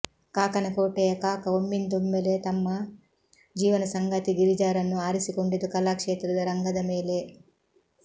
ಕಾಕನಕೋಟೆಯ ಕಾಕ ಒಮ್ಮಿಂದೊಮ್ಮೆಲೆ ತಮ್ಮ ಜೀವನ ಸಂಗಾತಿ ಗಿರಿಜಾರನ್ನು ಆರಿಸಿಕೊಂಡಿದ್ದು ಕಲಾಕ್ಷೇತ್ರದ ರಂಗದ ಮೇಲೆ